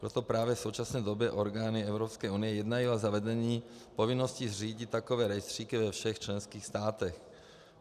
Proto právě v současné době orgány EU jednají o zavedení povinnosti zřídit takové rejstříky ve všech členských státech.